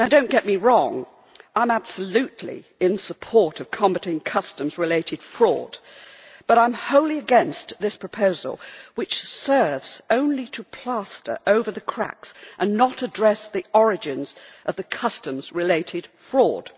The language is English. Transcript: Do not get me wrong I am absolutely in support of combating customs related fraud, but I am wholly against this proposal, which serves only to plaster over the cracks and does not address the origins of the customs related fraud.